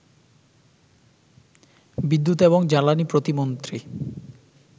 বিদ্যুৎ এবং জ্বালানী প্রতিমন্ত্রী